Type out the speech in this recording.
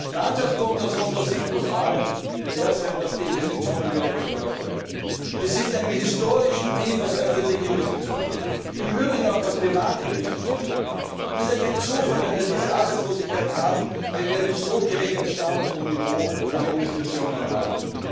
Der Ansatzpunkt muss aus unserer Sicht vor allem der sein, dass die Investitionen wieder gefördert werden. Wir sind in einem historischen Tief, was öffentliche Investitionen betrifft. Im Übrigen auch, was private Investitionen betrifft, und es ist kein Zufall, wenn wir diese Arbeitslosigkeit haben, wenn wir einen so geringen Stand und ein so geringes Niveau an Investitionen haben.